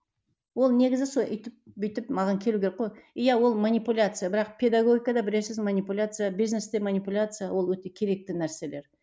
ол негізі сол үйтіп бүйтіп маған келу керек қой иә ол манипуляция бірақ педагогикада білесіз манипуляция бизнесте манипуляция ол өте керекті нәрселер